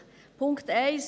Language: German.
Punkt 1